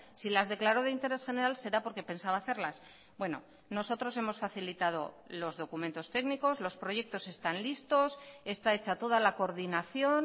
si las declaró de interés general será porque pensaba hacerlas bueno nosotros hemos facilitado los documentos técnicos los proyectos están listos está hecha toda la coordinación